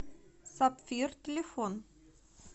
сапфир телефон